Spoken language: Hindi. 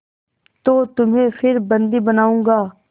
तो तुम्हें फिर बंदी बनाऊँगा